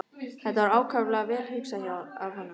Þetta var ákaflega vel hugsað af honum.